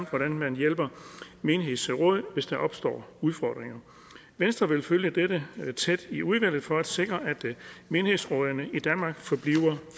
hvordan man hjælper menighedsråd hvis der opstår udfordringer venstre vil følge dette tæt i udvalget for at sikre at menighedsrådene i danmark forbliver